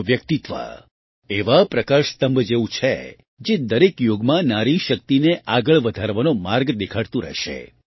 તેમનું વ્યક્તિત્વ એવા પ્રકાશ સ્તંભ જેવું છે જે દરેક યુગમાં નારી શક્તિને આગળ વધારવાનો માર્ગ દેખાડતું રહેશે